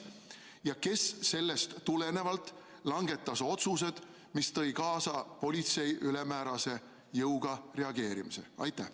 Ja kes sellest tulenevalt langetas otsuse, mis tõi kaasa politsei ülemäärase jõuga reageerimise?